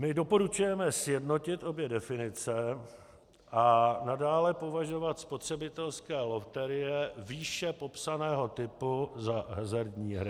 My doporučujeme sjednotit obě definice a nadále považovat spotřebitelské loterie výše popsaného typu za hazardní hry.